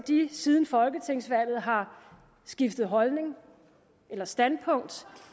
siden folketingsvalget har skiftet holdning eller standpunkt